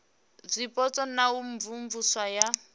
zwipotso na u imvumvusa ya